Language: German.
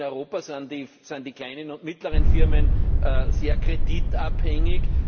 In Europa sind die kleinen und mittleren Firmen sehr kreditabhängig.